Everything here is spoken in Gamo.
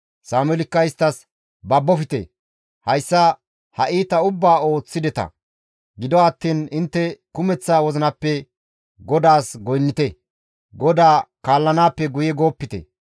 Sameelikka isttas, «Babofte; hayssa ha iita ubbaa ooththideta; gido attiin intte kumeththa wozinappe GODAAS goynnite; GODAA kaallanaappe guye goopite.